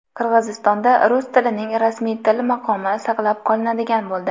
Qirg‘izistonda rus tilining rasmiy til maqomi saqlab qolinadigan bo‘ldi.